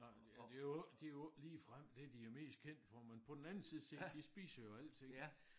Nej det jo ikke det jo ikke ligefrem det de er mest kendte for men på den anden side set de spiser jo alting